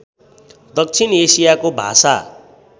दक्षिण एसियाको भाषा